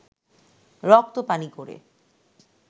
রক্ত পানি করে